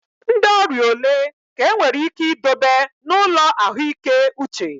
Ndị ọrịa ole ka enwere ike idobe n'ụlọ ahụike uche?